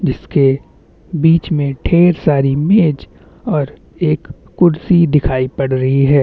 जिसके बीच में ढेर सारी मेज और एक कुर्सी दिखाई पड़ रही है।